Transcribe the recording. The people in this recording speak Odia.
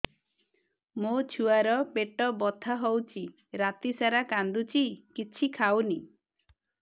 ମୋ ଛୁଆ ର ପେଟ ବଥା ହଉଚି ରାତିସାରା କାନ୍ଦୁଚି କିଛି ଖାଉନି